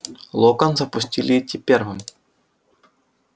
локонса пустили идти первым